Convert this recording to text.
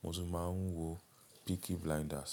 Mo tún máa ń wo Peaky Blinders.